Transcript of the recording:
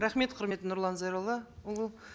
рахмет құрметті нұрлан зайроллаұлы